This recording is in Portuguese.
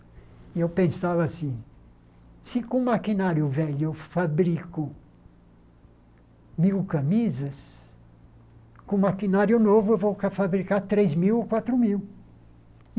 E eu pensava assim, se com o maquinário velho eu fabrico mil camisas, com o maquinário novo eu vou ca fabricar três mil ou quatro mil.